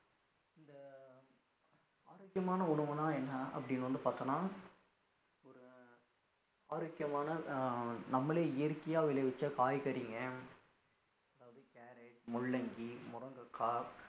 ஆரோக்கியமான உணவுனா என்னா அப்படினு வந்து பாத்தான ஒரு ஆரோக்கியமான ஹம் நம்மலே இயற்கையா விளையவச்ச காய்கறிகள் அதாவது carrot முள்ளங்கி முருங்கைக்கா